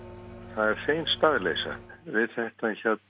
það er hrein staðleysa við þetta